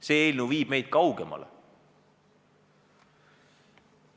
See eelnõu viib meid sellest kaugemale.